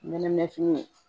Nɛnɛ fini